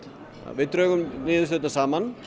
við drögum niðurstöðurnar saman